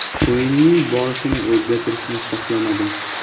O‘yinning borishini o‘zgartirishni xohlamadim.